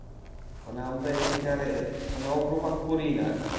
মানে আমরা এদিকে আর কোন অগ্রপাত করিই না আর কি।